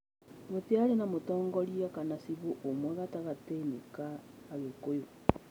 Gũtiarĩ na mũtongoria kana cibũ ũmwe gatagatĩ-inĩ ka Agikũyũ